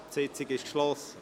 Die Sitzung ist geschlossen.